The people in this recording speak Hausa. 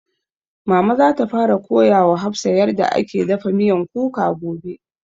Mama za ta fara koya wa hafsah yarda ake dafa miyan kuka gobe